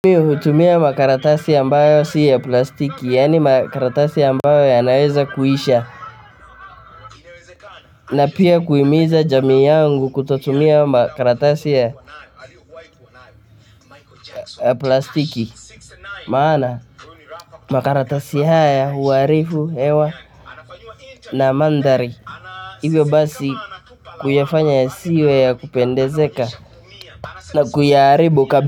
Mimi hutumia makaratasi ambayo si ya plastiki, yaani makaratasi ambayo yanaweza kuisha. Na pia kuhimiza jamii yangu kutotumia makaratasi ya plastiki. Maana, makaratasi haya huwarifu hewa. Na mandhari, hivyo basi kuyafanya yasiwe ya kupendezeka na kuyaharibu kabisa.